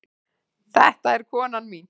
Þetta er konan mín.